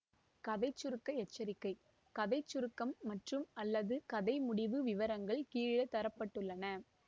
கதை சுருக்க எச்சரிக்கை கதை சுருக்கம் மற்றும்அல்லது கதை முடிவு விவரங்கள் கீழே தர பட்டுள்ளன